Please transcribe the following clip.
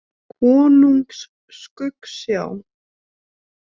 Konungs Skuggsjá.